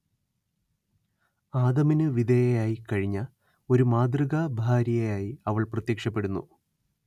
ആദമിനു വിധേയയായി കഴിഞ്ഞ ഒരു മാതൃകാഭാര്യ യായി അവൾ പ്രത്യക്ഷപ്പെടുന്നു